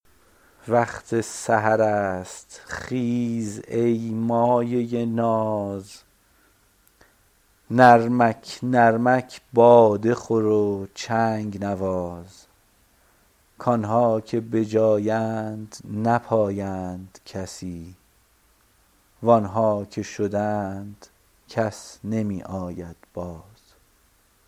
وقت سحر است خیز ای مایه ناز نرمک نرمک باده خور و چنگ نواز کآن ها که به جایند نپایند کسی و آن ها که شدند کس نمی آید باز